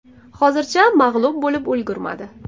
Hozircha mag‘lub bo‘lib ulgurmadi.